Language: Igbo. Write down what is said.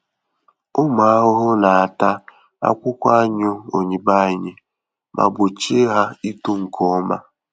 Ụmụ ahụhụ na-ata akwụkwọ anyụ oyibo anyị ma gbochie ha ito nke ọma.